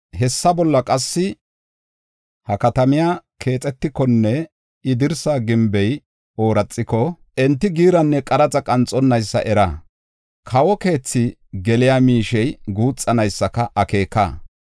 Hessa bolla qassi, ha katamiya keexetikonne I dirsa gimbey ooraxiko enti giiranne qaraxa qanxonnaysa era; kawo keethi geliya miishey guuxanaysa akeeka.